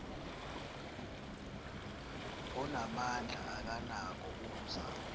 onamandla akanako ukuzama